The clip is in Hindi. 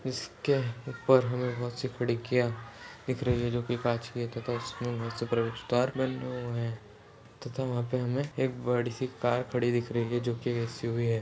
इसके ऊपर हमे बहुत सी खिड़कियां दिख रही है जो कि कांच की है तथा इसमें हुए हैं। तथा वहाँ पर हमें एक बड़ी सी कार खड़ी दिख रही है जो कि एक्स यू वी है।